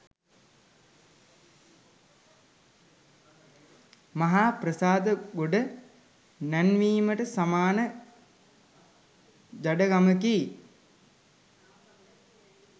මහා ප්‍රසාද ගොඩ නැංවීමට සමාන ජඩකමකි